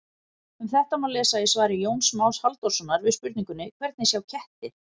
Um þetta má lesa í svari Jóns Más Halldórssonar við spurningunni Hvernig sjá kettir?